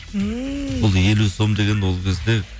ммм ол елу сом деген ол кезде